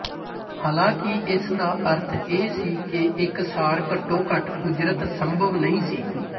ਹਾਲਾਂਕਿ ਇਸਦਾ ਅਰਥ ਇਹ ਸੀ ਕਿ ਇਕਸਾਰ ਘੱਟੋ ਘੱਟ ਉਜਰਤ ਸੰਭਵ ਨਹੀਂ ਸੀ